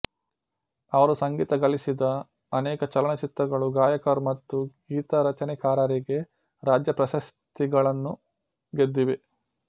ಅವರು ಸಂಗೀತ ಗಳಿಸಿದ ಅನೇಕ ಚಲನಚಿತ್ರಗಳು ಗಾಯಕರು ಮತ್ತು ಗೀತರಚನೆಕಾರರಿಗೆ ರಾಜ್ಯ ಪ್ರಶಸ್ತಿಗಳನ್ನು ಗೆದ್ದಿವೆ